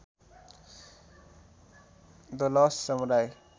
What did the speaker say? the last samurai